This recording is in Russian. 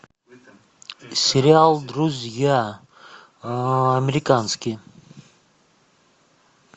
сериал друзья американский